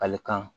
Kalikan